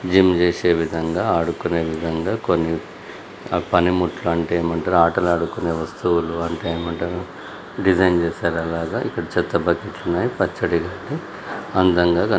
gym చేసే విధంగా ఆడుకునే విధంగా కొన్ని పనిముట్లు అంటే ఏమంటారు ఆటలు ఆడుకునే వస్తువులు అంటే ఏమంటారు డిజైన్ చేశారు అలాగా ఇక్కడ చెత్త బకెట్లు ఉన్నాయి ఉంది అందంగా కని--